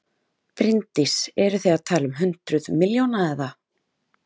Bryndís: Eru þið að tala um hundruð milljóna eða?